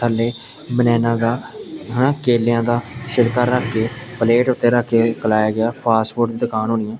ਥੱਲੇ ਬਨੈਨਾ ਦਾ ਹੈ ਨਾ ਕੇਲਿਆਂ ਦਾ ਛਿਲਕਾ ਰੱਖ ਕੇ ਪਲੇਟ ਉੱਤੇ ਰੱਖ ਕੇ ਕਲਾਆ ਗਿਆ ਫਾਸਟ ਫੂਡ ਦੀ ਦੁਕਾਨ ਹੋਣੀ ਆ।